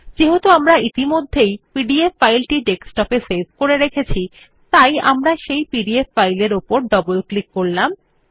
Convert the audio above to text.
যেহেতু আমরা ইতিমধ্যেই পিডিএফ ফাইলটি ডেস্কটপে সেভ করেছি আমরা এখন পিডিএফ ফাইল উপর ডবল ক্লিক করব